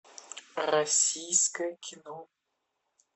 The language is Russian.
российское кино